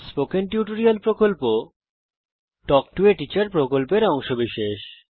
আমি spoken tutorial প্রকল্পকে ধন্যবাদ জানাই যা তাল্ক টো a টিচার প্রকল্পের অংশবিশেষ